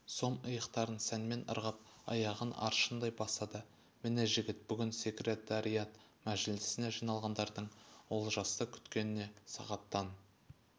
сом иықтарын сәнмен ырғап аяғын аршындай басады міне жігіт бүгін секретариат мәжілісіне жиналғандардың олжасты күткеніне сағаттан